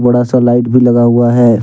थोड़ा सा लाइट भी लगा हुआ है।